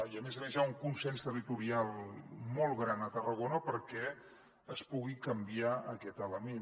i a més a més hi ha un consens territorial molt gran a tarragona perquè es pugui canviar aquest element